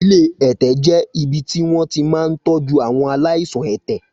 Ilé ẹ̀tẹ̀ jẹ́ ibi tí wọn ti máa ń tọ́jú àwọn aláìsàn ẹ̀tẹ̀.